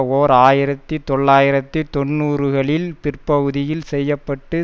ஓர் ஆயிரத்தி தொள்ளாயிரத்தி தொன்னூறுகளின் பிற்பகுதியில் செய்ய பட்டு